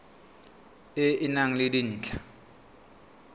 e e nang le dintlha